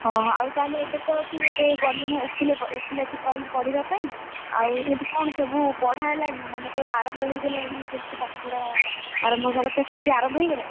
ଓହୋ ଆଉ ତାହାଲେ ତୁ ଏବେ ତ ଏବେ ତୁ ଗଲୁଣି ଓକିଲ~ ଓକିଲାତି ପାଇଁ ପଢିବା ପାଇଁ, ଆଉ ସେଠି କଣ ସବୁ ପଢା ହେଲାଣି? ମାନେ ଧର ଆରମ୍ଭ ହେଇଗଲାଣି ଯେମିତି ପାଠପଢା, ଆରମ୍ଭ ହାବା କଥା ସେମିତି ଆରମ୍ଭ ହେଇଗଲାଣି?